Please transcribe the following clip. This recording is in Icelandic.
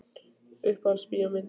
Uppáhalds bíómyndin?